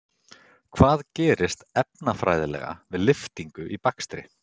Hvað gerist, efnafræðilega, við lyftingu í bakstri?